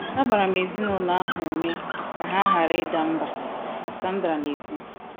“ Agbara m ezinụlọ ahụ ume ka ha ghara ịda mbà, ” ka Sandra na - ekwu.